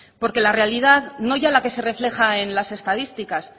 porque la realidad no ya la que se refleja en las estadísticas